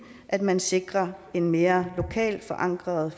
at man sikrer et mere lokalt forankret